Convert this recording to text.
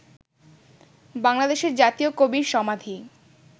বাংলাদেশের জাতীয় কবির সমাধি